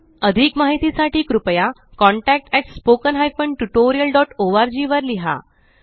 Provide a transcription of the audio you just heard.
अधिक माहिती साठी कृपया contactspoken tutorialorg वर लिहा